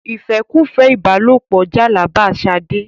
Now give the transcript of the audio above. ìfẹ́kùfẹ́ ìbálòpọ jàlàbá Ṣadé.